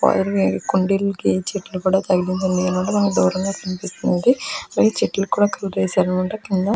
ఆయుర్వి ఈ కుండీలకి చెట్లు కూడా తగిలి ఉండటం మనకి కొంచెం దూరంగా కనిపిస్తుంది. ఈ చెట్లకి కూడా కలర్ వేసారన్నమాట కింద.